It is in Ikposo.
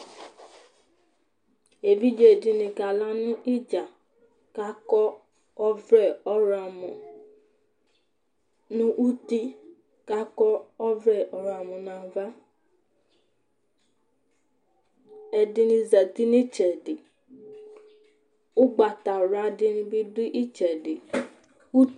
Evidze ɖìŋí kala ŋu idza kʋ akɔ ɔvlɛ ɔwlɔmɔ ŋu ʋti kʋ akɔ ɔvlɛ ɔwlɔmɔ ŋu ava Ɛɖìní zɛti ŋu itsɛɖi Ugbatawla ɖìŋí bi ɖu itsɛɖi